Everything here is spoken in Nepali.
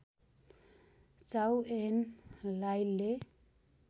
चाउ एन लाइले